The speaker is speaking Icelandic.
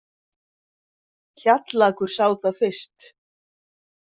Kjallakur sá það fyrst.